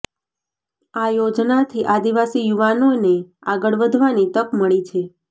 આ યોજનાથી આદિવાસી યુવાનોને આગળ વધવાની તક મળી છે